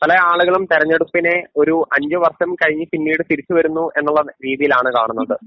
പല ആളുകളും തെരഞ്ഞെടുപ്പിനെ ഒരു അഞ്ചു വർഷം കഴിഞ്ഞു പിന്നീട് തിരിച്ചുവരുന്നു എന്നുള്ള രീതിയിലാണ് കാണുന്നത്‌.